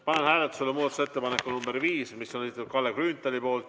Panen hääletusele muudatusettepaneku nr 5, mis on Kalle Grünthali esitatud.